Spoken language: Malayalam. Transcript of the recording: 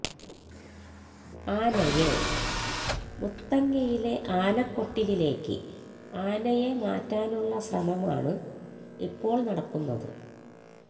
ആനയെ മുത്തങ്ങയിലെ ആന കൊട്ടിലിലേക്ക് ആനയെ മാറ്റാനുള്ള ശ്രമമാണ് ഇപ്പോള് നടക്കുന്നത്